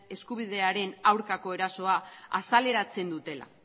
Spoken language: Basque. eskubidearen aurkako erasoa azaleratzen dutela